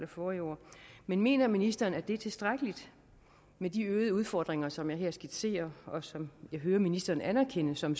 forrige år men mener ministeren at det er tilstrækkeligt med de øgede udfordringer som jeg her skitserer og som jeg hører ministeren anerkende som